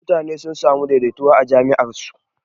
mutane sun samu daidaituwa a jam'iyyar su.